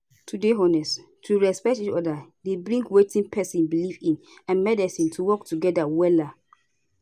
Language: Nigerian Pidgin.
to dey honest to respect each oda dey bring wetin pesin belief in and medicine to work together wellla